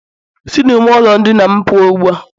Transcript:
Si na ime ulo ndina'm puo ugbua!.